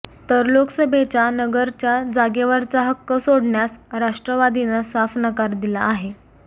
तर लोकसभेच्या नगरच्या जागेवरचा हक्क सोडण्यास राष्ट्रवादीनं साफ नकार दिला आहे